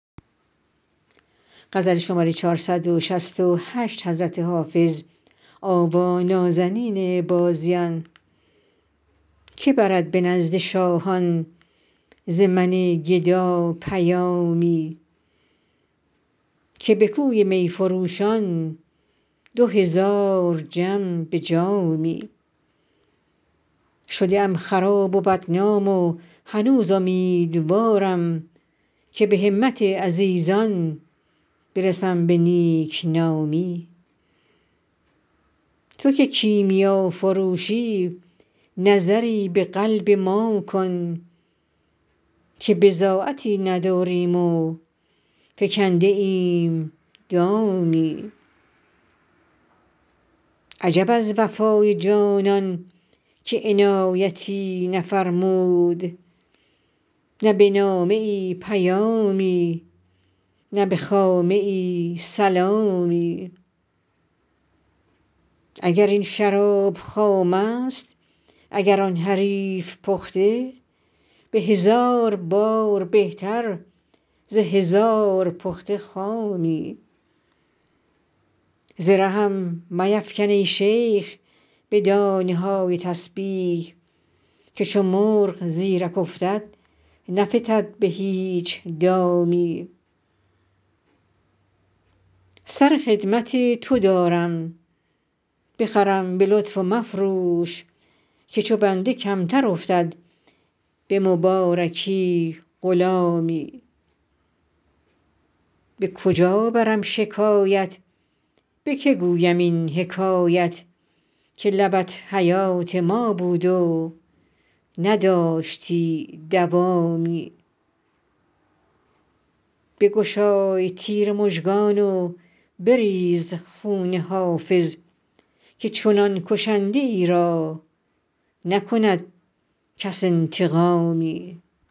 که برد به نزد شاهان ز من گدا پیامی که به کوی می فروشان دو هزار جم به جامی شده ام خراب و بدنام و هنوز امیدوارم که به همت عزیزان برسم به نیک نامی تو که کیمیافروشی نظری به قلب ما کن که بضاعتی نداریم و فکنده ایم دامی عجب از وفای جانان که عنایتی نفرمود نه به نامه ای پیامی نه به خامه ای سلامی اگر این شراب خام است اگر آن حریف پخته به هزار بار بهتر ز هزار پخته خامی ز رهم میفکن ای شیخ به دانه های تسبیح که چو مرغ زیرک افتد نفتد به هیچ دامی سر خدمت تو دارم بخرم به لطف و مفروش که چو بنده کمتر افتد به مبارکی غلامی به کجا برم شکایت به که گویم این حکایت که لبت حیات ما بود و نداشتی دوامی بگشای تیر مژگان و بریز خون حافظ که چنان کشنده ای را نکند کس انتقامی